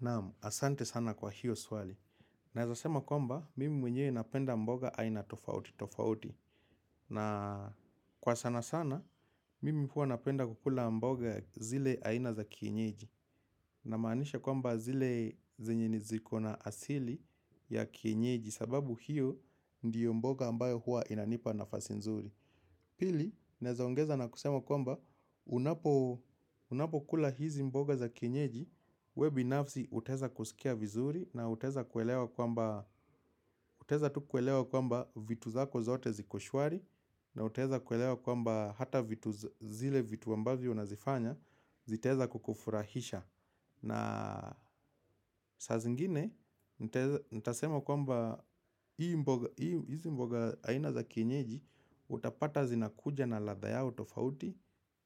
Naam, asante sana kwa hiyo swali. Naweza sema kwamba, mimi mwenyewe napenda mboga aina tofauti tofauti. Na kwa sana sana, mimi huwa napenda kukula mboga zile aina za kienyeji. Namaanisha kwamba zile zenye ni zikona asili ya kienyeji. Sababu hiyo ndiyo mboga ambayo huwa inanipa nafasi nzuri. Pili, naweza ongeza na kusema kwamba unapo kula hizi mboga za kienyeji wewe binafsi utaweza kusikia vizuri na utaweza kuelewa kwamba vitu zako zote ziko shwari na utaweza kuelewa kwamba hata zile vitu ambavyo unazifanya zitaweza kukufurahisha. Na saa zingine, nitasema kwamba hizi mboga haina za kienyeji, utapata zinakuja na ladha yao tofauti.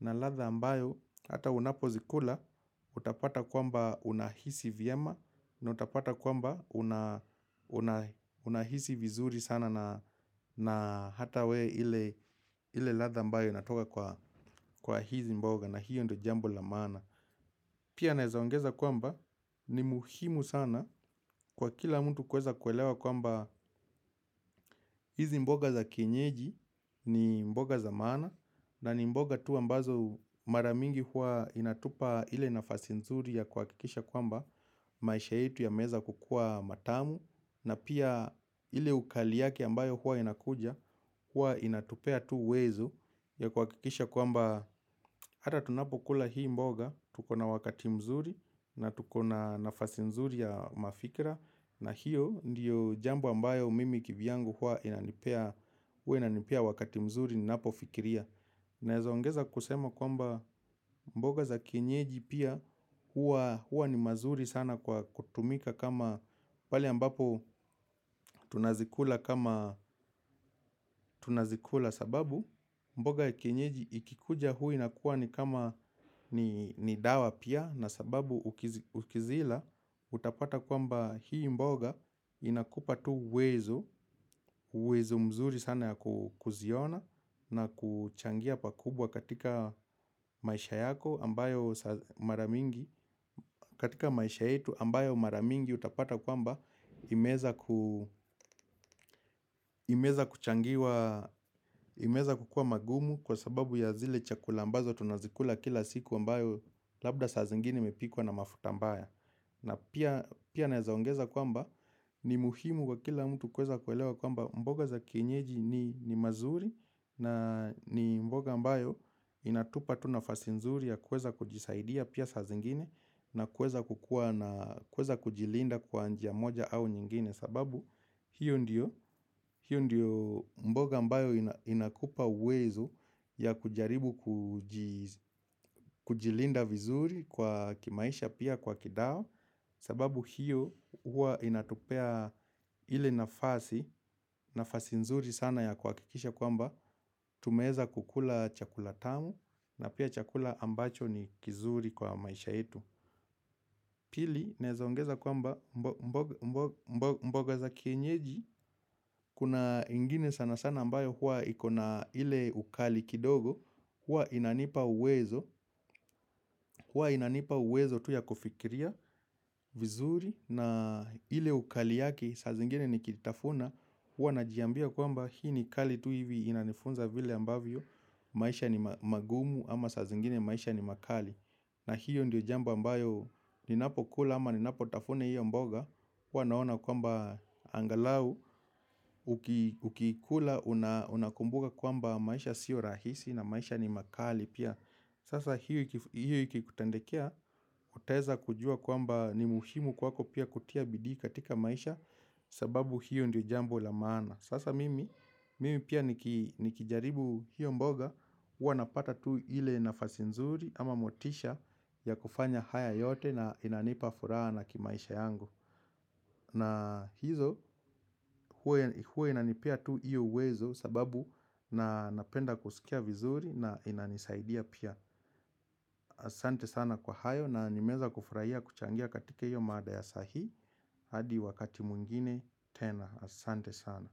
Na ladha ambayo, hata unapo zikula, utapata kwamba unahisi vyema. Na utapata kwamba unahisi vizuri sana na hata we ile ladha ambayo inatoka kwa hizi mboga. Na hiyo ndio jambo la maana. Pia naweza ongeza kwamba ni muhimu sana kwa kila mtu kuweza kuelewa kwamba hizi mboga za kienyeji ni mboga za maana na ni mboga tu ambazo mara mingi huwa inatupa ile nafasi nzuri ya kuhakikisha kwamba maisha yetu yameweza kukua matamu na pia ile ukali yake ambayo huwa inakuja huwa inatupea tu uwezo ya kuhakikisha kwamba hata tunapokula hii mboga, tukona wakati mzuri na tukona nafasi mzuri ya mafikira. Na hiyo ndiyo jambo ambayo mimi kivyangu huwa inanipea wakati mzuri ninapofikiria. Naweza ongeza kusema kwamba mboga za kienyeji pia huwa ni mzuri sana kwa kutumika kama pale ambapo tunazikula kama tunazikula sababu mboga ya kienyeji ikikuja huwa inakuwa ni kama ni dawa pia na sababu ukizila utapata kwamba hii mboga inakupa tu uwezo, uwezo mzuri sana ya kuziona na kuchangia pakubwa katika maisha yako ambayo mara mingi, katika maisha yetu ambayo mara mingi utapata kwamba imeweza kuchangiwa, imeweza kukuwa magumu kwa sababu ya zile chakula ambazo tunazikula kila siku ambayo labda saa zingine imepikwa na mafuta mbaya. Na pia naweza ongeza kwamba ni muhimu wa kila mtu kuweza kuelewa kwamba mboga za kienyeji ni mzuri na ni mboga ambayo inatupa tu nafasi nzuri ya kuweza kujisaidia pia saa zingine na kuweza kujilinda kwa njia moja au nyingine. Sababu hiyo ndiyo mboga ambayo inakupa uwezo ya kujaribu kujilinda vizuri kwa kimaisha pia kwa kidao sababu hiyo huwa inatupea ile nafasi nafasi nzuri sana ya kuhakikisha kwamba tumeweza kukula chakula tamu na pia chakula ambacho ni kizuri kwa maisha yetu. Pili, inaweza ongeza kwamba mboga za kienyeji, kuna ingine sana sana ambayo huwa ikona ile ukali kidogo, huwa inanipa uwezo, huwa inanipa uwezo tu ya kufikiria vizuri na ile ukali yake saa zingine nikitafuna, huwa najiambia kwamba hii ni kali tu hivi inanifunza vile ambavyo, maisha ni magumu ama sa zingine maisha ni makali. Na hiyo ndio jambo ambayo ninapo kula ama ninapo tafuna hiyo mboga. Wanaona kwamba angalau ukikula unakumbuka kwamba maisha sio rahisi na maisha ni makali pia. Sasa hiyo ikikutendekea utaweza kujua kwamba ni muhimu kwako pia kutia bidii katika maisha. Sababu hiyo ndio jambo la maana. Sasa mimi pia nikijaribu hiyo mboga. Huwa napata tu ile nafasi nzuri ama motisha ya kufanya haya yote na inanipa furaha na kimaisha yangu. Na hizo huwa inanipea tu hiyo uwezo sababu na napenda kusikia vizuri na inanisaidia pia. Asante sana kwa hayo na nimeweza kufurahia kuchangia katika hiyo mada ya saa hii. Hadi wakati mwingine tena, asante sana.